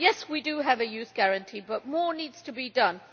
Yes, we do have a Youth Guarantee, but more needs to be done.